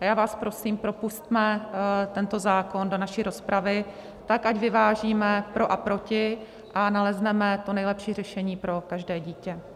A já vás prosím, propusťme tento zákon do naší rozpravy tak, ať vyvážíme pro a proti a nalezneme to nejlepší řešení pro každé dítě.